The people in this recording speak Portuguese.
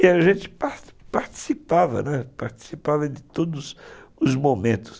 E a gente par participava, participava de todos os momentos.